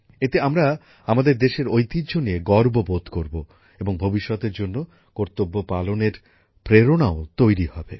এতে আমরা আমাদের দেশের ঐতিহ্য নিয়ে গর্ব বোধ করব এবং ভবিষ্যতের জন্য কর্তব্যপালনের প্রেরণাও তৈরী হবে